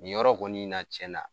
Nin yɔrɔ kɔni na cɛn na